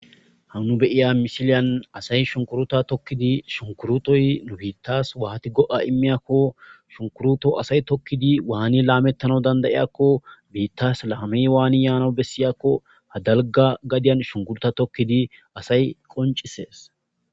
Nu beyiza misiliyan asay shunkuruta tokidi shunkurutoy nu bittad wati go'a imizako asay tokidi Wani lametana danda, 'idako bitas lamey Wani yanako ha dalga gafiyan shukuruta tokidi asay qocises